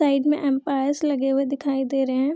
Side में umpires लगे हुए दिखाई दे रहे हैं।